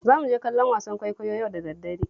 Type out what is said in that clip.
Za mu je kallon wasan kwaikwayo yau da daddare